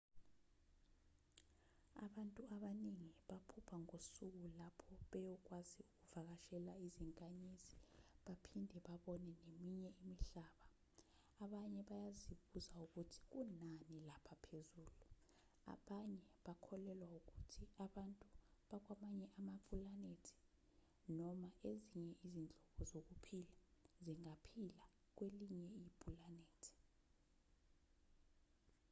abantu abaningi baphupha ngosuku lapho beyokwazi ukuvakashela izinkanyezi baphinde babone neminye imihlaba abanye bayazibuza ukuthi kunani lapha phezulu abanye bakholelwa ukuthi abantu bakwamanye amapulanethi noma ezinye izinhlobo zokuphila zingaphila kwelinye ipulanethi